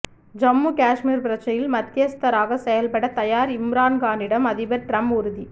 ஜம்மு காஷ்மீர் பிரச்சினையில் மத்தியஸ்தராக செயல்பட தயார் இம்ரான்கானிடம் அதிபர் டிரம்ப் உறுதி